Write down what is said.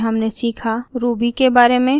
ruby के बारे में